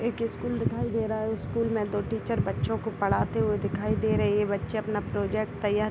एक स्कूल दिखाई दे रहा है स्कूल मे दो टीचर बच्चों को पढ़ाते हुए दिखाई दे रहे है ये बच्चे अपना प्रोजेक्ट तैयार --